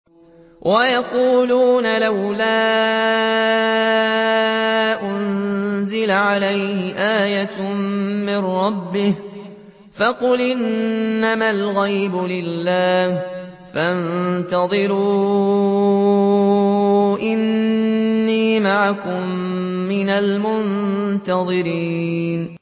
وَيَقُولُونَ لَوْلَا أُنزِلَ عَلَيْهِ آيَةٌ مِّن رَّبِّهِ ۖ فَقُلْ إِنَّمَا الْغَيْبُ لِلَّهِ فَانتَظِرُوا إِنِّي مَعَكُم مِّنَ الْمُنتَظِرِينَ